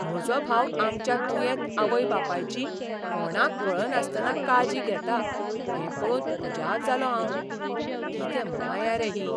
म्हजो भाव आमच्या दुयेंत आवय बापायची कोणाक कळनासतना काळजी घेता हें पळोवन अजाप जालों हांव. कितें माया रे ही!